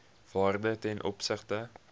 waarde ten opsigte